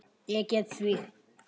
Ég get því